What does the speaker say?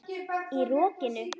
Í rokinu?